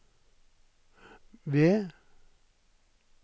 ved